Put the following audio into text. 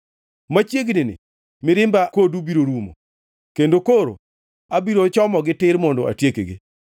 Machiegnini mirimba kodu biro rumo kendo koro abiro chomogi tir mondo atiekgi.”